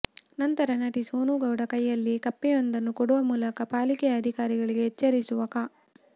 ನಂತರ ನಟಿ ಸೋನು ಗೌಡ ಕೈಯಲ್ಲಿ ಕಪ್ಪೆಯೊಂದನ್ನು ಕೊಡುವ ಮೂಲಕ ಪಾಲಿಕೆ ಅಧಿಕಾರಿಗಳಿಗೆ ಎಚ್ಚರಿಸುವ ಕ